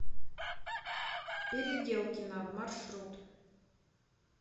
переделкино маршрут